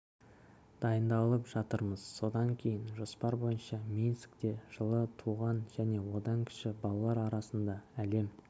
дайындалып жатырмыз содан кейін жоспар бойынша минскте жылы туған және одан кіші балалар арасындағы әлем